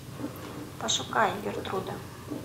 пошукай гертруда